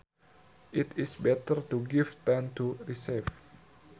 It is better to give than to receive